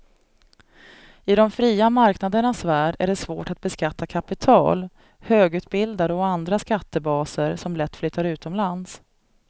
I de fria marknadernas värld är det svårt att beskatta kapital, högutbildade och andra skattebaser som lätt flyttar utomlands.